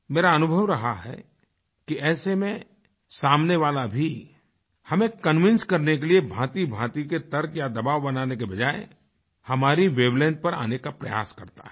मेरा अनुभव रहा है कि ऐसे में सामने वाला भी हमें कन्विंस करने के लिए भांतिभांति के तर्क या दबाव बनाने की बजाय हमारी वेवलेंग्थ पर आने का प्रयास करता है